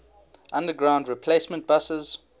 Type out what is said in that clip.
underground replacement buses